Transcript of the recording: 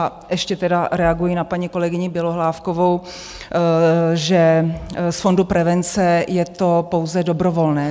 A ještě tedy reaguji na paní kolegyni Bělohlávkovou, že z fondu prevence je to pouze dobrovolné.